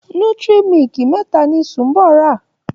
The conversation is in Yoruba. Nutri milk mẹ́ta ni Sunbo rà.